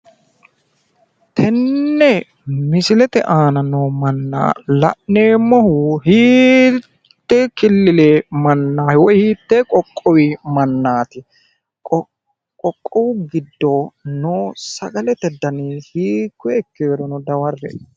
tenne misilete aana noo manni la'neemmohu hiitte killile woyi qoqowu mannaati? qoqowu giddo noo sagalete dani hiikkoye ikkeerono dawarre''e.